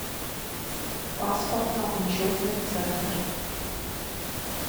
паспортно учетный центр